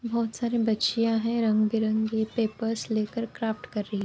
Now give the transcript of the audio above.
बहुत सारी बच्चियां है रंग-बिरंगे पेपर्स लेकर क्राफ्ट कर रही --